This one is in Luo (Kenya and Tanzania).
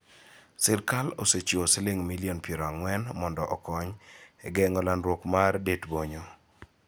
Sirkal osechiwo siling' milion piero ang'wen mondo okony e geng'o landruok mar det-bonyo.